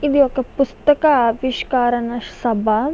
ఇది ఒక పుస్తక ఆవిష్కరణ సభ.